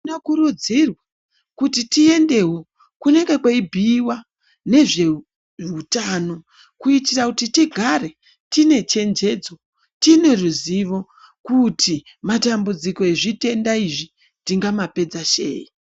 Tinokurudzirwa kuti tiendewo kunenge kweibhuyiwa nezveutano kuitira kuti tigare tine chenjedzo, tine ruzivo kuti matambudziko ezvitenda izvi tingamapedza sei.